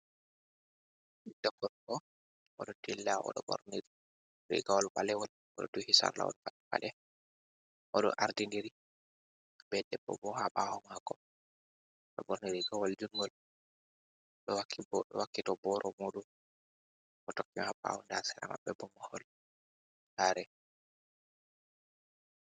Goɗɗo gorko oɗo dilla oɗo bornir rigawol balewal oɗo duhi sarlawol pat balejum, oɗo ardindiri be debbo bo ha ɓawo mako bo borni rigawol judngol do wakkito boro muɗum bo tokkimo ha ɓawo nda sera maɓɓe bo mohol sare.